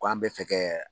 Ko an bɛ fɛ kɛ